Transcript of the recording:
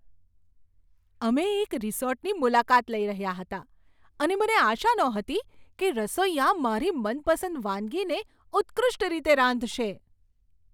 અમે એક રિસોર્ટની મુલાકાત લઈ રહ્યા હતા અને મને આશા નહોતી કે રસોઈયા મારી મનપસંદ વાનગીને ઉત્કૃષ્ટ રીતે રાંધશે.